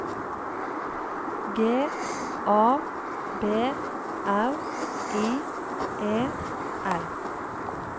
G A B R I E L